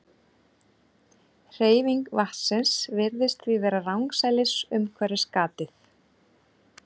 Hreyfing vatnsins virðist því vera rangsælis umhverfis gatið.